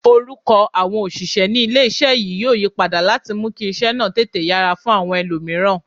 Orúkọ àwọn òṣìṣẹ́ ní ilé-iṣẹ́ yìí yóò yí padà láti mú kí iṣẹ́ náà tètè yára fún àwọn ẹlòmíràn